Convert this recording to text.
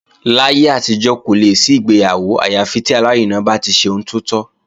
Láyé àtijọ́, kò lè sí ìgbéyàwó àyà fi tí alárinà bá ti ṣe ohun tó tọ́